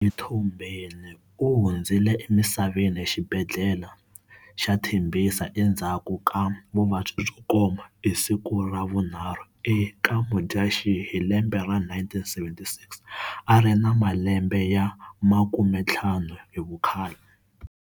Mtombeni u hundzile emisaveni exibhedlele ya Tembisa endzhaku ka vuvabyi byokoma, Hi siku ra vu 3 eka Mudyaxihi hilembe ra 1976 ari na malembe ya 50 hivukhale.